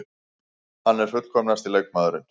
Hann er fullkomnasti leikmaðurinn.